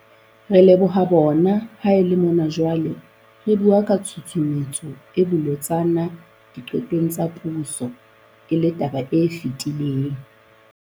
Re leboha bona ha e le mona jwale re bua ka tshusumetso e bolotsana diqetong tsa puso e le taba e fetileng.